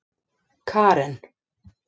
Karen